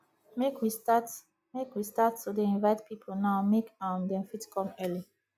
make we start make we start to dey invite people now make um dem fit come early